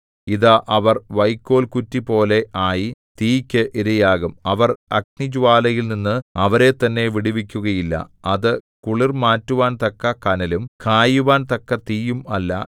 ഇതാ അവർ വൈക്കോൽകുറ്റിപോലെ ആയി തീയ്ക്ക് ഇരയാകും അവർ അഗ്നിജ്വാലയിൽനിന്ന് അവരെത്തന്നെ വിടുവിക്കുകയില്ല അത് കുളിർ മാറ്റുവാൻ തക്ക കനലും കായുവാൻ തക്ക തീയും അല്ല